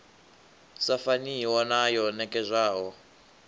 sa faniho na yo nekedzwaho